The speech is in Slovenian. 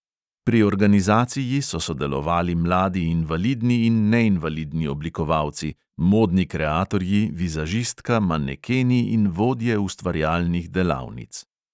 Pri organizaciji so sodelovali mladi invalidni in neinvalidni oblikovalci, modni kreatorji, vizažistka, manekeni in vodje ustvarjalnih delavnic.